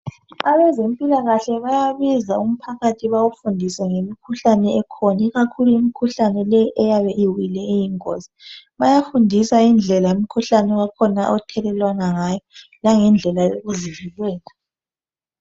Abezempilakahle bayabiza umphakathi bawufundise ngemikhuhlane ekhona ikakhulu imikhuhlane leyi eyabe iwile eyingozi bayafundisa indlela umkhuhlane wakhona othelelwana ngayo langendlela yokuzivikela